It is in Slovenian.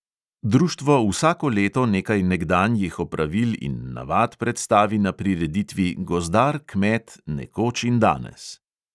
Društvo vsako leto nekaj nekdanjih opravil in navad predstavi na prireditvi gozdar - kmet nekoč in danes.